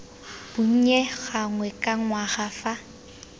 bonnye gangwe ka ngwaga fa